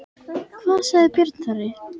Hvað sagði Björn Þorri?